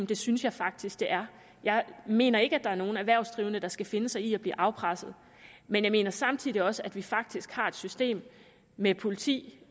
det synes jeg faktisk det er jeg mener ikke at der er nogen erhvervsdrivende der skal finde sig i at blive afpresset men jeg mener samtidig også at vi faktisk har et system med politi